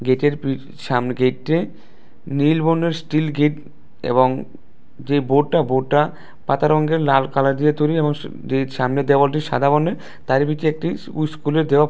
ইঁটের প্রি সামনের গেইট্যে নীল বর্ণের স্টিল গেইট এবং যে বোর্ডটা বোর্ডটা পাতা রঙ্গের লাল কালার দিয়ে তৈরি এবং দে সামনের দেওয়ালটি সাদা বর্ণের তাইর ভিতরে একটি উ উস্কুলের দেও--